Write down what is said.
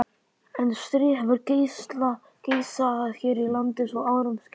En stríð hefur geisað hér í landi svo árum skiptir.